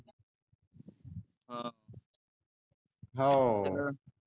हव.